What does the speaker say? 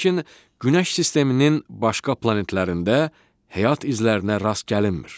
Lakin Günəş sisteminin başqa planetlərində həyat izlərinə rast gəlinmir.